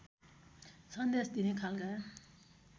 सन्देश दिने खालका